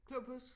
Klubhus